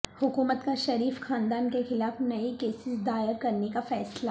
حکومت کا شریف خاندان کیخلاف نئے کیسز دائر کرنے کا فیصلہ